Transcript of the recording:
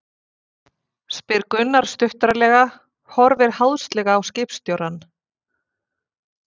spyr Gunnar stuttaralega, horfir háðslega á skipstjórann.